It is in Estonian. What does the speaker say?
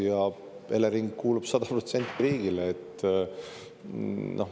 Ja Elering kuulub 100% riigile.